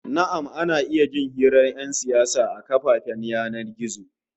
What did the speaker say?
Na'am, ana iya jin hirar 'yan siyasa a shafukan yanar gizo